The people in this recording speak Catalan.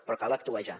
però cal actuar ja